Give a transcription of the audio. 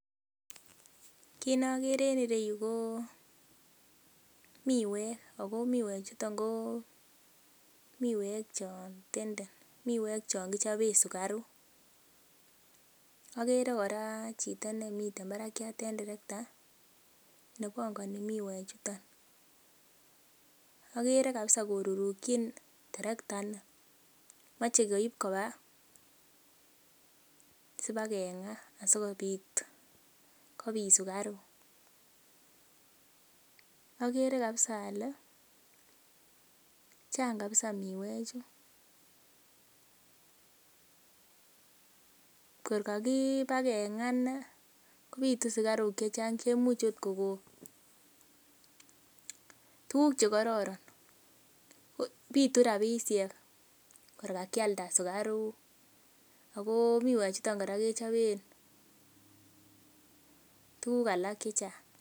Kit nokere en ireyu ko miwek ako miwek chuton ko miwek chon tenden miwek chon kichoben sukaruk, okere kora chito nemiten barakiat en terekta nebongoni miwek chuton, okere kabisa korurukyin terekta ni moche koib koba sibakeng'aa asikobit kobit sukaruk. Agere kabisa ole chang kabisa miwek chu kor kakibakeng'aa inei kobitu sukaruk chechang chemuch ot kokon tuguk chekororon, bitu rapisiek kor kakialda sukaruk ako miwek chuton kora kechoben tuguk alak chechang.